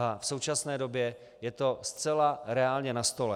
A v současné době je to zcela reálně na stole.